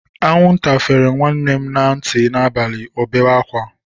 Anwụnta fere nwanne m na ntị n'abalị, o bewe ákwá.